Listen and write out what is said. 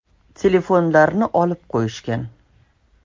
Telefonlarni olib qo‘yishgan.